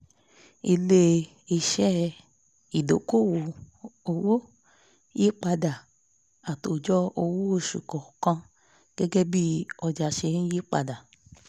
ilé-iṣẹ́ ìdoko-owó yípadà àtòjọ owó oṣù kọọkan gẹ́gẹ́ bí ọjà ṣe ń yípadà